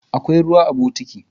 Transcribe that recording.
Akwai ruwa a bokiti.